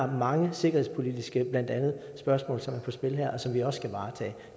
mange sikkerhedspolitiske spørgsmål der er på spil her og som vi også skal varetage